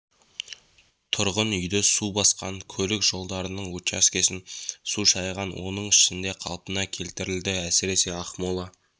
тұрғын үйді су басқан көлік жолдарының учаскесін су шайған оның ішінде қалпына келтірілді әсіресе ақмола